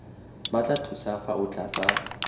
batla thuso fa o tlatsa